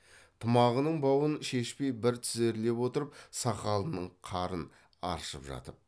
тымағының бауын шешпей бір тізерлеп отырып сақалының қарын аршып жатып